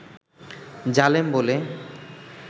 জালেম বলে